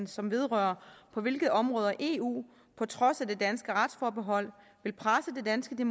som vedrører på hvilke områder eu på trods af det danske retsforbehold vil presse det danske